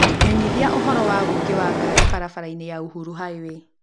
menyĩthia ũhoro wa ũingĩ wa ngari barabara-inĩ ya uhuru highway